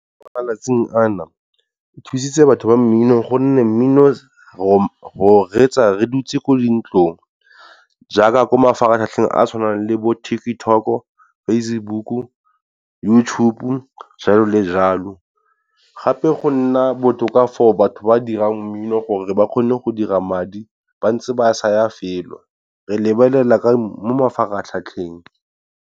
Mo malatsing a na, go thusitse batho ba mmino gonne mmino re o reetsa re dutse ko di ntlong jaaka ko mafaratlhatlheng a tshwanang le bo TikTok, Facebook YouTube jalo le jalo. Gape go nna botoka for batho ba ba dirang mmino gore ba kgone go dira madi ba ntse ba sa ya felo, re lebelela mo mafaratlhatheng.